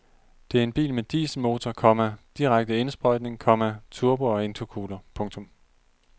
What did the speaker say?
Det er en bil med dieselmotor, komma direkte indsprøjtning, komma turbo og intercooler. punktum